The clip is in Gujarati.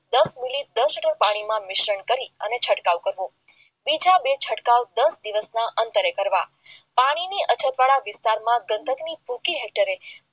દસ મિનિટ પાણીમાં મિશ્રણ કરી છંટકાવ કરવો દસ દિવસના અંતરે કરવા. પાણીની અઠવાડા વિસ્તારમાં ગંડક ની ફેક્ટએ